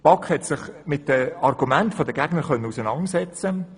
Die BaK konnte sich mit den Argumenten der Gegner auseinandersetzen.